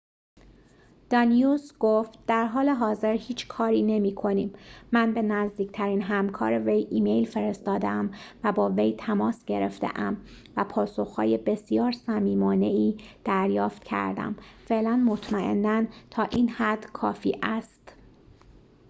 دانیوس گفت در حال حاضر هیچ کاری نمی‌کنیم من به نزدیکترین همکار وی ایمیل فرستاده‌ام و با وی تماس گرفته‌ام و پاسخ‌های بسیار صمیمانه‌ای دریافت کردم فعلاً مطمئناً تا این حد کافی است